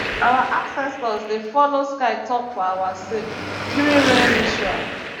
our ancestors dey follow sky talk for our sake during rain ritual